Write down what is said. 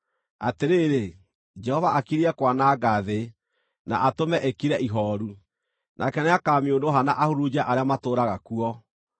Atĩrĩrĩ, Jehova akirie kwananga thĩ, na atũme ĩkire ihooru; nake nĩakamĩũnũha na ahurunje arĩa matũũraga kuo: